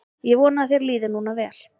Ég vona að þér líði núna vel.